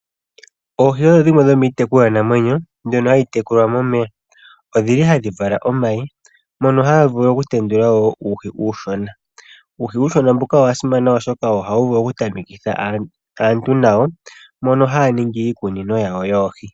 Oohi odho dhimwe dhomiitekulwa namwenyo mbyono hayi tekulwa momeya. Ohadhi vala omayi ngono haga vulu okutendula wo uuhi uushona. Uuhi uushona mbuka owasimana oshoka ohawu vulu oku tamekitha aantu nawo mbono haya ningi iikunino yawo yoohi.